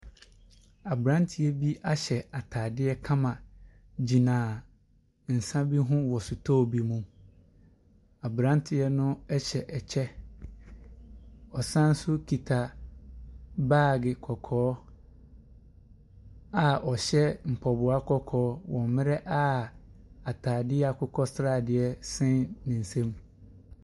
Aberanteɛ ahyɛ ataadeɛ kama gyina nsa bi ho wɔ sotɔɔ bi mu. Aberanteɛ no ɛhyɛ ɛkyɛ, ɔsan so kita baage kɔkɔɔ a ɔhyɛ mpaboa kɔkɔɔ wɔ mmerɛ a ataadeɛ akokɔ sradeɛ sɛn ne nsam.